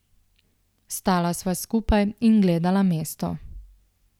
Stala sva skupaj in gledala mesto.